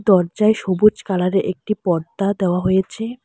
দরজায় সবুজ কালারের একটি পর্দা দেওয়া হয়েছে।